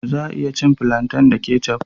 Za a iya cin filantai da kecaf